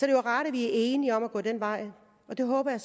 er jo rart at vi er enige om at gå den vej og det håber jeg